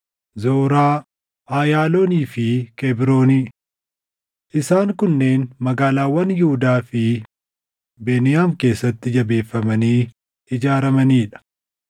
Zoraa, Ayaaloonii fi Kebrooni. Isaan kunneen magaalaawwan Yihuudaa fi Beniyaam keessatti jabeeffamanii ijaaramanii dha.